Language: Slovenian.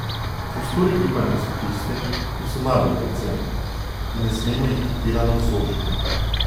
Prostori gibanja so tisti, ki so najbolj dragoceni, in ne smemo jih pretirano zožiti.